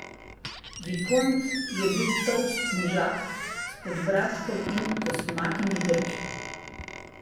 Vikont je bil tolst možak s podbradkom in kosmatimi brki.